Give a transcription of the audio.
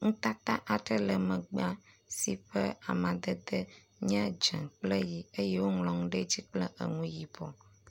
nutata aɖe le megbea si ƒe amadede nye dzĩ kple ɣi eye woŋlɔ eŋu ɖe dzi kple eŋu yibɔ.